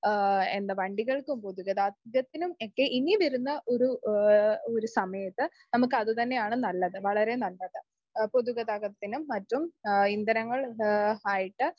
ങാ എന്താ വണ്ടികൾക്കും പൊതുഗതാഗതത്തിനും ഒക്കെ ഇനി വരുന്ന ഒരു സമയത്ത് നമുക്ക് അതുതന്നെയാണ് നല്ലത്, വളരെ നല്ലത്. പൊതുഗതാഗതത്തിനും മറ്റും ഇന്ധനങ്ങൾ ആയിട്ട്